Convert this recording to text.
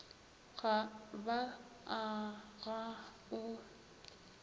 ga ba a ga o